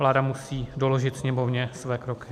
Vláda musí doložit Sněmovně své kroky.